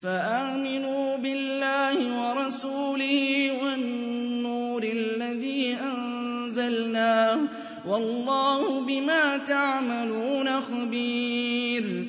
فَآمِنُوا بِاللَّهِ وَرَسُولِهِ وَالنُّورِ الَّذِي أَنزَلْنَا ۚ وَاللَّهُ بِمَا تَعْمَلُونَ خَبِيرٌ